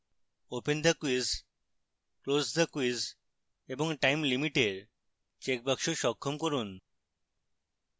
open the quiz close the quiz এবং time limit এর চেকবাক্স সক্ষম করুন